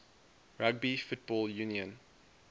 rugby football union